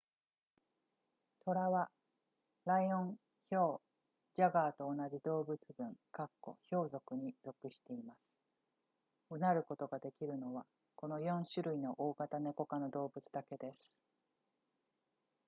トラはライオンヒョウジャガーと同じ動物群ヒョウ属に属しています唸ることができるのはこの4種類の大型ネコ科の動物だけです